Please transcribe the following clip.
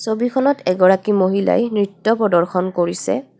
ছবিখনত এগৰাকী মহিলাই নৃত্য প্ৰদৰ্শন কৰিছে।